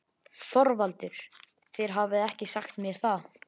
ÞORVALDUR: Þér hafið ekki sagt mér það.